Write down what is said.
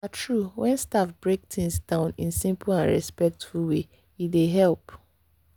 na true—when staff break things down in simple and respectful way e dey help.